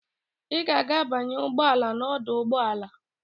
Ị ga-aga banye ụgbọ ala n'ọdụ ụgbọ ala.